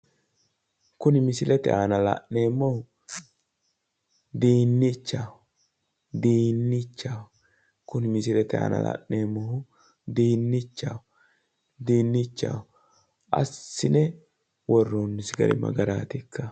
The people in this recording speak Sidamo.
kuni misilete aana la'neemohu dii'nichaho, diinnichaho, kuni misilete aana la'neemohu dii'nichaho asine worroonisi gari ma garaatikka?